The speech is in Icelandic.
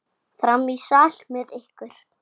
Jón Arason sýndi þeim bréf.